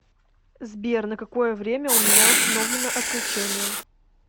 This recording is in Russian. сбер на какое время у меня установлено отключение